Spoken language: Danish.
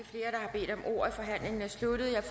bedt om ordet og forhandlingen sluttet jeg